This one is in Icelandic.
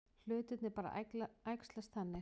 Hlutirnir bara æxlast þannig.